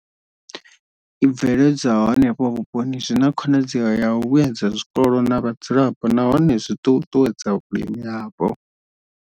I bveledzwaho henefho vhuponi zwi na khonadzeo ya u vhuedza zwikolo na vhadzulapo nahone zwi ṱuṱuwedza vhulimi hapo.